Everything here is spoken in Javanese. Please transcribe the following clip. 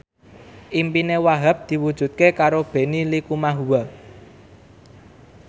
impine Wahhab diwujudke karo Benny Likumahua